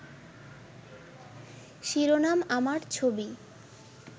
শিরোনাম আমার ছবি